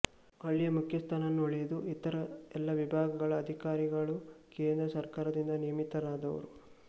ಹಳ್ಳಿಯ ಮುಖ್ಯಸ್ಥನನ್ನುಳಿದು ಇತರ ಎಲ್ಲ ವಿಭಾಗಗಳ ಅಧಿಕಾರಿಗಳು ಕೇಂದ್ರ ಸರ್ಕಾರದಿಂದ ನೇಮಿತರಾದವರು